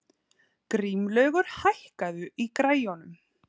Grímlaugur, hækkaðu í græjunum.